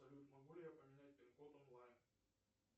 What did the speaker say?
салют могу ли я поменять пин код онлайн